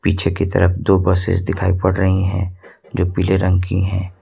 पीछे की तरफ दो बसेस दिखाई पड़ रही है जो पीले रंग की है।